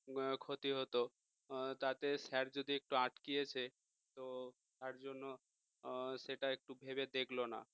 হম ক্ষতি হতো তাতে sir যদি একটু আটকেছে তো তার জন্য সেটা একটু ভেবে দেখল না